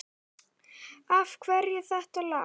Af hverju þetta lag?